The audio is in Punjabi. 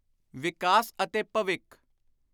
ਵਿਕਾਸ ਅਤੇ ਭਵਿੱਖ